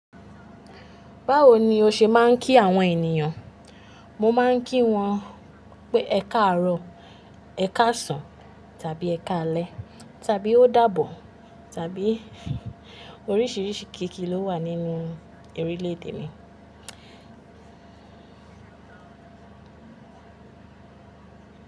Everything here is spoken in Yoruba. Báwo ni o ṣe máa ń kí àwọn ènìyàn? Mo máa ń kí wọn pé, ẹ káàárọ̀, ẹ káàsán tàbí ẹ káalẹ́ tàbí ó dàbọ̀ tàbí oríṣiríṣi kíkí ló wà nínú orílẹ̀èdè mi.